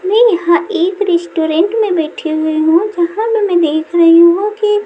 मैं यहाँ एक रेस्टोरेंट में बैठी हुई हूँ जहाँ में मैं देख रही हूँ कि--